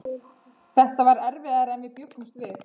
Þetta segir Anna Sigrún rangt.